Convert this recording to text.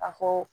A fɔ